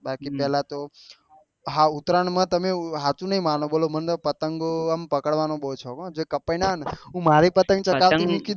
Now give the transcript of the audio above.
બાકી પેહલા તો હા ઉત્તરાયણ માં તમે હાચું નહિ માનો મને પતંગો એમ પકડવાનો બહુ શોક હા જે કપાઈ નેં આવે ને હું મારી પતંગ ચકવો